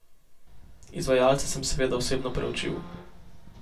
Izvajalce sem seveda osebno preučil.